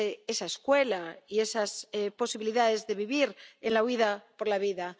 esa escuela y esas posibilidades de vivir en la huida por la vida.